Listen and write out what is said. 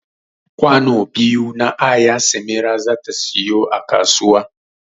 Kwano biyu na aya samira zata siyo a kasuwa